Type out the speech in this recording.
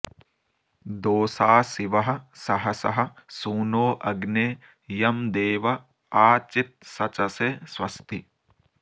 दोषा शिवः सहसः सूनो अग्ने यं देव आ चित्सचसे स्वस्ति